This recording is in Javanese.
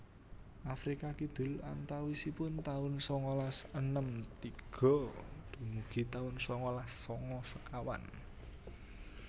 Afrika Kidul antawisipun taun sangalas enem tiga dumugi taun sangalas sanga sekawan